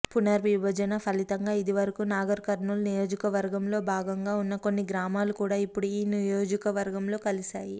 పునర్విభజన ఫలితంగా ఇదివరకు నాగర్కర్నూల్ నియోజకవర్గంలో భాగంగా ఉన్న కొన్ని గ్రామాలు కూడా ఇప్పుడు ఈ నియోజకవర్గంలో కలిశాయి